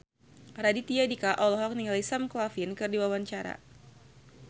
Raditya Dika olohok ningali Sam Claflin keur diwawancara